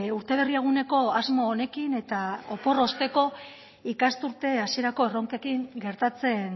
urte berri eguneko asmo honekin eta opor osteko ikasturte hasierako erronkekin gertatzen